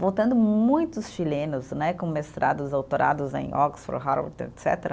Voltando muitos chilenos né, com mestrados, autorados em Oxford, Harvard, etcetera